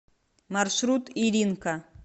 маршрут иринка